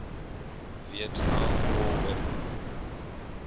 vietnam war weapons